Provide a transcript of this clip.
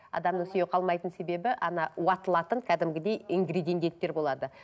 адамның сүйегі қалмайтын себебі уатылатын кәдімгідей болады